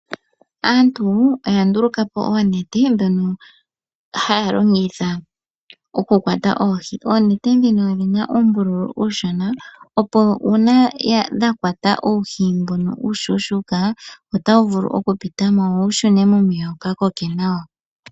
Aantu oya ndulukapo oonete dhono haya longitha oku kwata oohi. Oonete dhino odhina uumbululu uushona opo una dha kwata uuhi mbuno uushushuka otawu vulu oku pitamo wo wu shune momeya wu ka koke nawa.